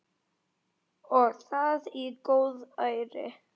Og það í góðæri!